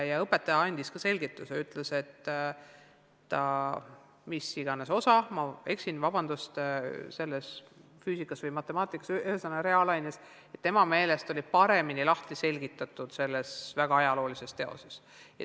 Tookord õpetaja andis sellise selgituse, et tema arvates oli see mis iganes osa – ma võin eksida, kas see oli füüsika või matemaatika, aga igal juhul reaalaine – paremini lahti selgitatud selles väga ajaloolises teoses.